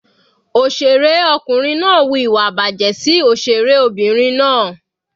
Òṣèré ọkùnrin náà wu ìwà ìbàjẹ́ sí òṣèré Obìnrin náà.